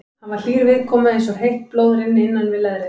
Hann var hlýr viðkomu eins og heitt blóð rynni innan við leðrið.